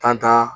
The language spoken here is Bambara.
Tantan